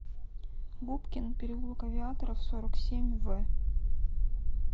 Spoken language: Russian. губкин переулок авиаторов сорок семь в